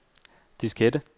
diskette